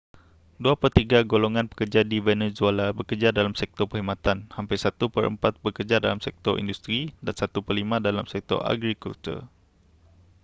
dua pertiga golongan pekerja di venezuela bekerja dalam sektor perkhidmatan hampir satu perempat bekerja dalam sektor industri dan satu perlima dalam sektor agrikultur